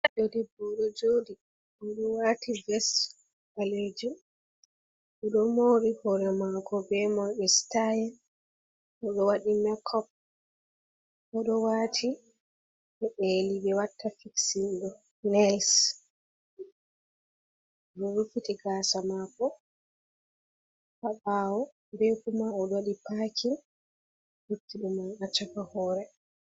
Ɗoo ɗebbo oɗo joɗi. Oɗo wati ves ballejum oɗo mori hore mako be mobe sitayel. Oɗo waɗi makop. Oɗo wati bo peli be watta fiksinɗo nels. Oɗo ruffiti gasa mako ha bawo. Be kuma oɗo waɗi pakin littiɗum man ha chaka hore.